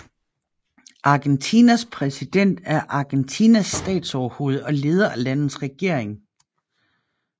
Argentinas præsident er Argentinas statsoverhoved og leder af landets regering